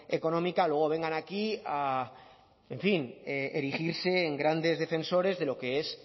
económica luego vengan aquí a en fin erigirse en grandes defensores de lo que es